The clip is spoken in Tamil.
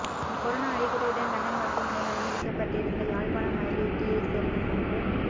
கொரோனா அறிகுறியுடன் லண்டன் மருத்துவமனையில் அனுமதிக்கப்பட்டிருந்த யாழ்ப்பாணம் மயிலிட்டியை சேர்ந்த மூன்று